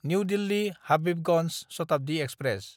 new दिल्ली–हाबिबगन्ज Shatabdi express